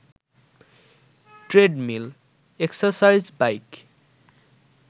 treadmill, exercise bike